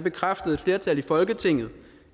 bekræftede et flertal i folketinget